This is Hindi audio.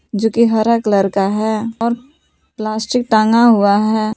जो कि हरा कलर का है और प्लास्टिक टांगा हुआ है।